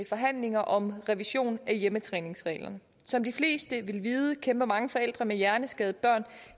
forhandlinger om revision af hjemmetræningsreglerne som de fleste vil vide kæmper mange forældre med hjerneskadede børn